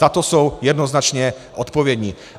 Za to jsou jednoznačně odpovědní.